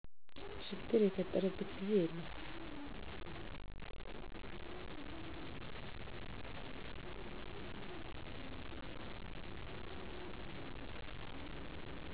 ችግር የፈጠረበት ጊዜ የለም